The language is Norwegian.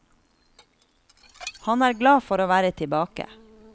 Han er glad for å være tilbake.